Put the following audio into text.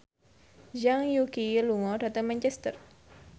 Zhang Yuqi lunga dhateng Manchester